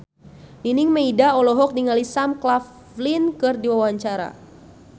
Nining Meida olohok ningali Sam Claflin keur diwawancara